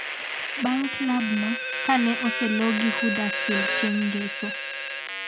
bang' klab no kane oselo gi Huddersfield chieng' ngeso